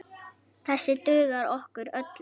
Þessir duga okkur öllum.